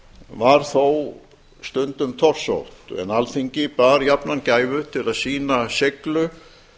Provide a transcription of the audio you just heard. var þó stundum torsótt en alþingi bar jafnan gæfu til að sýna seiglu